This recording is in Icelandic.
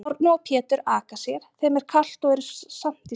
Árni og Pétur aka sér, þeim er kalt og eru samt í stakknum.